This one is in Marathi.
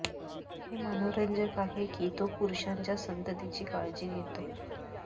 हे मनोरंजक आहे की तो पुरुषांच्या संततीची काळजी घेतो